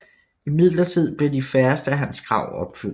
Imidlertid blev de færreste af hans krav opfyldt